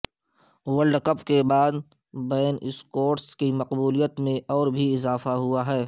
world cup کے بعد Ben Stokes کی مقبولیت میں اور بھی اضافہ ہوا ہے